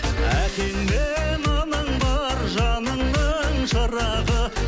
әкең мен анаң бар жаныңның шырағы